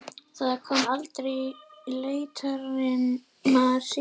Það kom aldrei í leitirnar síðar.